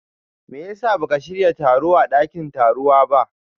meyasa baka shiya taro a dakin tarowa ba?